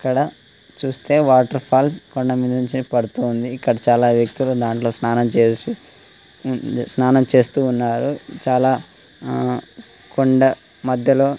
ఇక్కడ చూస్తే water falls కొండమీద ఉంది పడ్తుంది. ఇక్కడ చాలా వ్యక్తులు ఉన్నారు. ధట్లో స్నానం చెస్ స్నానం చేస్తూ ఉన్నారు. చానా కొండ మధ్యలో--